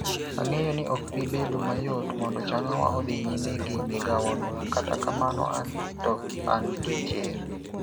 Ang'eyo ni ok bi bedo mayot mondo Changawa odhi nyime gi migawono, kata kamano an to an gi chir. "